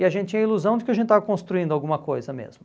E a gente tinha a ilusão de que a gente estava construindo alguma coisa mesmo.